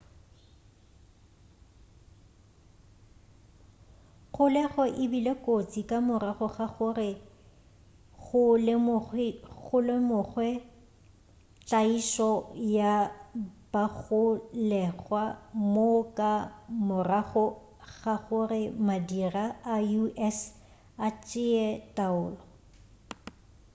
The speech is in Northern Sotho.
kgolego e bile kotsi ka morago ga gore go lemogwe tlaišo ya bagolegwa moo ka morago ga gore madira a us a tšea taolo